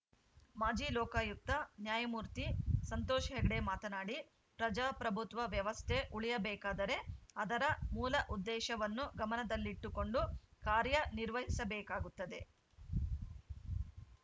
ಮಾಜಿ ಲೋಕಾಯುಕ್ತ ನ್ಯಾಯಮೂರ್ತಿ ಸಂತೋಷ್‌ ಹೆಗ್ಡೆ ಮಾತನಾಡಿ ಪ್ರಜಾಪ್ರಭುತ್ವ ವ್ಯವಸ್ಥೆ ಉಳಿಯಬೇಕಾದರೆ ಅದರ ಮೂಲ ಉದ್ದೇಶವನ್ನು ಗಮನದಲ್ಲಿಟ್ಟುಕೊಂಡು ಕಾರ್ಯನಿರ್ವಹಿಸಬೇಕಾಗುತ್ತದೆ